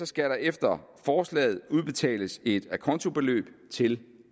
skal der efter forslaget udbetales et acontobeløb til